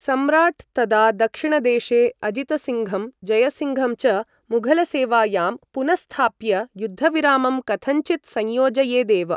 सम्राट्, तदा दक्षिणदेशे अजितसिङ्घं जयसिङ्घं च मुघलसेवायां पुनःस्थाप्य युद्धविरामं कथञ्चित् संयोजयेदेव।